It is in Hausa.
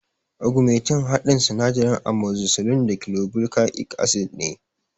Ugmentin haɗin sinadaran amogzisilin da kilabuka ik asid ne